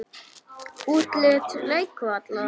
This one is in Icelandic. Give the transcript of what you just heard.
Útlit leikvallar?